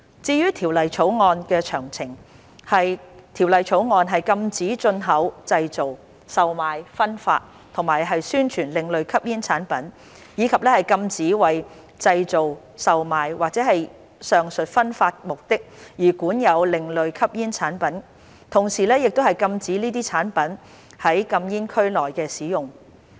至於《條例草案》的詳情，《條例草案》禁止進口、製造、售賣、分發和宣傳另類吸煙產品，以及禁止為製造、售賣或上述分發的目的而管有另類吸煙產品，同時亦禁止這些產品在禁煙區內的使用。